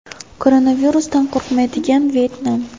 Koronavirusdan qo‘rqmaydigan Vyetnam.